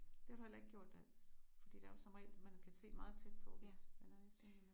Det har du heller ikke gjort da fordi det er jo som regel man kan se meget tæt på hvis man er nærsynet